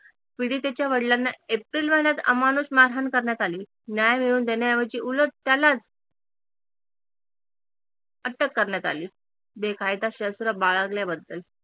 पीडितेच्या वडलांना एप्रिल महिन्यात अमानुष मारहाण करण्यात आली न्याय मिळवून देण्याऐवजी उलट त्यालाच अटक करण्यात आली बेकायदा शस्त्र बाळगल्याबद्दल